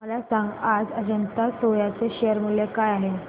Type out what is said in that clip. मला सांगा आज अजंता सोया चे शेअर मूल्य काय आहे